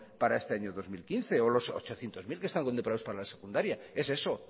para este año dos mil quince o los ochocientos mil que están contemplados para la secundaria es eso